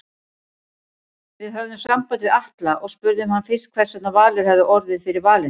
Við höfðum samband við Atla og spurðum hann fyrst hversvegna Valur hafi orðið fyrir valinu?